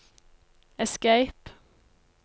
escape